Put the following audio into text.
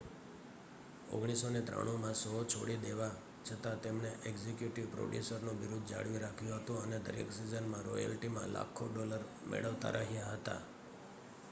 1993 માં શો છોડી દેવા છતાં તેમણે એક્ઝિક્યુટિવ પ્રોડ્યુસરનું બિરુદ જાળવી રાખ્યું હતું અને દરેક સિઝનમાં રોયલ્ટીમાં લાખો ડોલર મેળવતા રહ્યા હતા